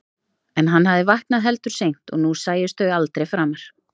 En hann hafði vaknað heldur seint og nú sæjust þau aldrei framar.